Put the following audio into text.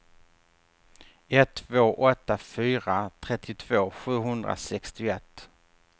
ett två åtta fyra trettiotvå sjuhundrasextioett